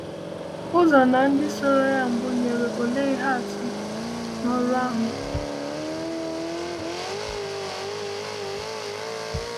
Uzo na ndị soro ya mbụ nyere òlee ihe atụ n’ọrụ ahụ?